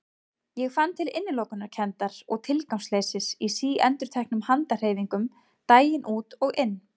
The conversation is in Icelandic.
Ég fann til innilokunarkenndar og tilgangsleysis í síendurteknum handahreyfingum daginn út og inn.